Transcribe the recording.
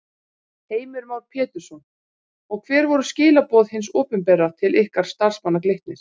Heimir Már Pétursson: Og hver voru skilaboð hins opinbera til ykkar starfsmanna Glitnis?